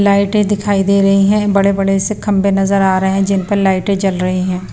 लाइटें दिखाई दे रही हैं बड़े-बड़े से खंबे नजर आ रहे हैं जिन पर लाइटें जल रही हैं।